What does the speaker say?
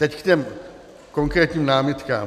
Teď k těm konkrétním námitkám.